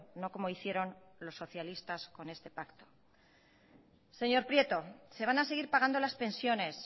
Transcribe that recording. no como hicieron los socialistas con este pacto señor prieto se van a seguir pagando las pensiones